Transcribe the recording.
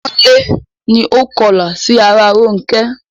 Ọmọlé ni ó kọlà sí ara Rónkẹ́.